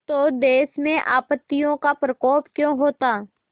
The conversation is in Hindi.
तो देश में आपत्तियों का प्रकोप क्यों होता